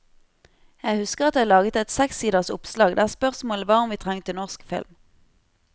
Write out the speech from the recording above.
Jeg husker at jeg lagetet sekssiders oppslag der spørsmålet var om vi trengte norsk film.